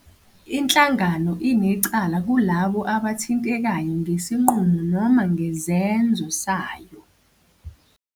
Inhlangano inecala kulabo abathintekayo ngesinqumo noma ngezenzo sayo.